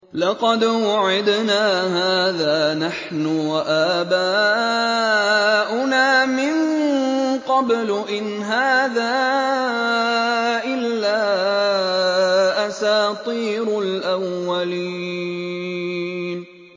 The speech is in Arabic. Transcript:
لَقَدْ وُعِدْنَا هَٰذَا نَحْنُ وَآبَاؤُنَا مِن قَبْلُ إِنْ هَٰذَا إِلَّا أَسَاطِيرُ الْأَوَّلِينَ